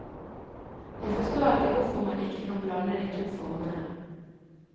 Jeg forstår ikke hvorfor man ikke kan blande de to formene.